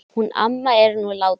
Hún amma er nú látin.